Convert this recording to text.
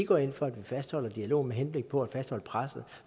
går ind for at vi fastholder dialogen med henblik på at fastholde presset